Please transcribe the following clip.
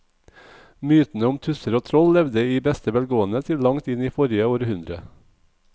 Mytene om tusser og troll levde i beste velgående til langt inn i forrige århundre.